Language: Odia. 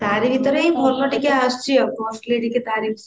ତାରି ଭିତରେ ହିଁ ଭଲ ଟିକେ ଆସୁଛି ଆଉ costly ଟିକେ